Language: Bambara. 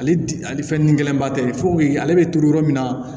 Ale ale fɛn nin gɛlɛnba tɛ foyi ale bɛ turu yɔrɔ min na